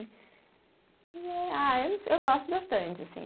E é. Ah, eu gosto bastante, assim.